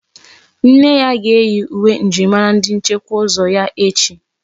Nne ga-eyi uwe njirimara ndi nchekwa ụzọ ya echi.